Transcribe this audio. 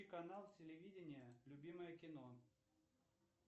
канал телевидения любимое кино